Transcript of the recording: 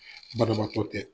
Banabaatɔ tɛ